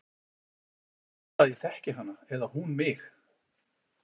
En það er varla að ég þekki hana eða hún mig.